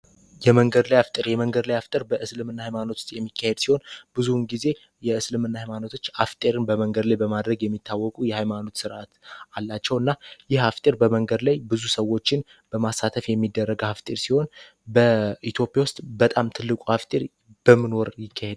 የመንገድ ላይ አፍጠር የመንገድ ላይ አፍጠር በእስልም ና ሃይማኖት ውስጥ የሚካሄድ ሲሆን ብዙውን ጊዜ የእስልም ና ሃይማኖቶች አፍጤርን በመንገድ ላይ በማድረግ የሚታወቁ የሃይማኖት ስርዓት አላቸው። እና ይህ አፍጤር በመንገድ ላይ ብዙ ሰዎችን በማሳተፍ የሚደረገ ሀፍጤር ሲሆን በኢቲዮጵያ ውስጥ በጣም ትልቁ አፍጤር በምኖር ይካሔድል?